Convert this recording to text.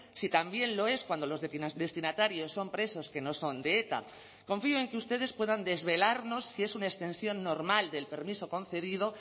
si también lo es cuando los destinatarios son presos que no son de eta confío en que ustedes puedan desvelarnos si es una extensión normal del permiso concedido